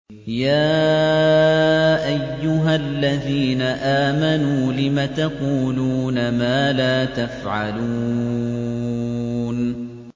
يَا أَيُّهَا الَّذِينَ آمَنُوا لِمَ تَقُولُونَ مَا لَا تَفْعَلُونَ